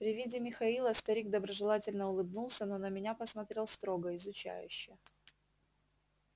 при виде михаила старик доброжелательно улыбнулся но на меня посмотрел строго изучающе